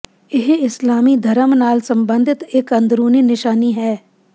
ਇਹ ਇਸਲਾਮੀ ਧਰਮ ਨਾਲ ਸਬੰਧਤ ਇੱਕ ਅੰਦਰੂਨੀ ਨਿਸ਼ਾਨੀ ਹੈ